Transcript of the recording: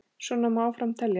Svona má áfram telja.